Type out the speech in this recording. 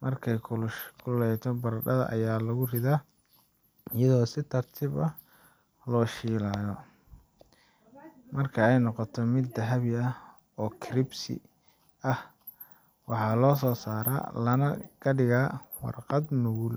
markay kulushahayna barandhada ayaa lagu riddaa iyadoo si tartiib ah loo shiilayo. Marka ay noqoto mid dahabi ah oo crispy ah, waa la soo saaraa lana dhigaa warqad nugul.